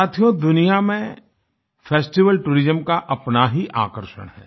साथियो दुनिया में फेस्टिवल टूरिज्म का अपना ही आकर्षण है